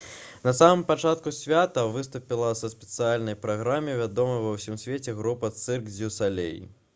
на самым пачатку свята выступіла са спецыяльнай праграмай вядомая ва ўсім свеце трупа «цырк дзю салей»